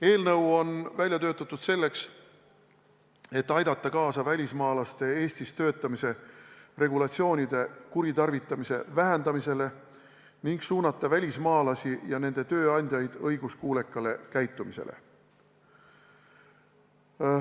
Eelnõu on välja töötatud selleks, et aidata kaasa välismaalaste Eestis töötamise regulatsiooni kuritarvitamise vähendamisele ning suunata välismaalasi ja nende tööandjaid õiguskuulekale käitumisele.